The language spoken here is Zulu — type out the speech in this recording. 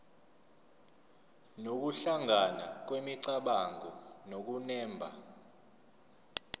nokuhlangana kwemicabango nokunemba